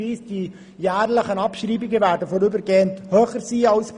So werden die jährlichen Abschreibungen vorübergehend höher ausfallen als bisher.